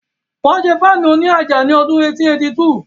Wọ́n ṣé Fáànù òní àjà ní ọdún 1882